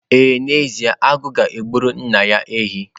Ee n'ezie, Agu ga-egburu nna ya ehi.